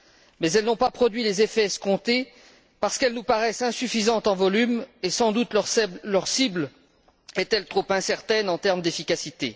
Mais elles n'ont pas produit les effets escomptés parce qu'elles nous paraissent insuffisantes en volume, et sans doute leur cible est elle trop incertaine en termes d'efficacité.